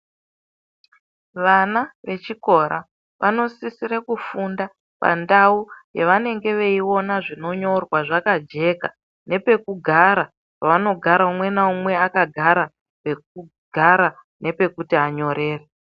Vana vechikora vanosisire kufunda pandau yavanenge veiona zvinonyorwa zvakajeka nepekugara pavanogara umwe naumwe akagara pekugara nepekuti anyorere.